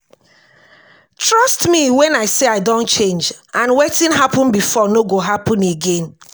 trust me wen i say i don change and wetin happen before no go happen again